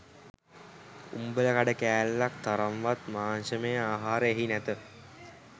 උම්බලකඩ කෑල්ලක් තරම්වත් මාංශමය ආහාර එහි නැත